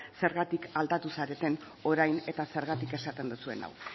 zergatik aldatu zaretan orain eta zergatik esaten duzuen hau